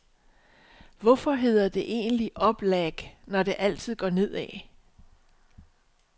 Hvorfor hedder det egentlig op lag, når det altid går ned ad?